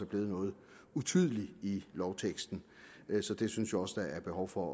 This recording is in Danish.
blevet noget utydeligt i lovteksten så det synes jeg også der er behov for